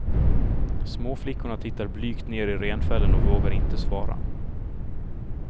Småflickorna tittar blygt ner i renfällen och vågar inte svara.